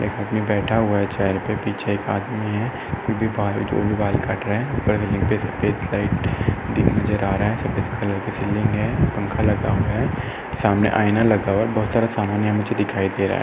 एक आदमी बैठा हुआ है चेयर पे पीछे एक आदमी है। वो भी बाल वो भी बाल काट रहा है। ऊपर से नीचे सफेद लाइट दिख नजर आ रहा है। सफेद कलर की सीलिंग है पंख लगा हुआ है। सामने आईना लगा हुआ है। बहोत सारा सामान यहाँ मुझे दिखाई दे रहा है।